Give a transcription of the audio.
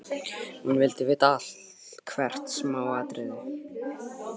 Hún vildi vita allt, hvert smáatriði.